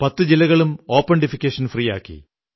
പത്തു ജില്ലകളും open defecation free ആക്കി